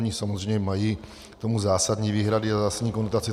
Oni samozřejmě mají k tomu zásadní výhrady a zásadní konotace.